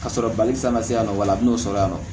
Ka sɔrɔ bali san ma se yan nɔ wala a bɛ n'o sɔrɔ yan nɔ